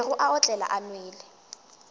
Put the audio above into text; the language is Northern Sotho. bego a otlela a nwele